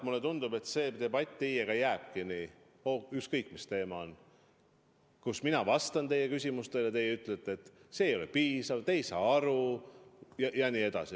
Mulle tundub, et debatt teiega jääbki nii, et ükskõik mis teema on, kui mina vastan teie küsimustele, siis teie ütlete, et see ei ole piisav, te ei saa aru jne.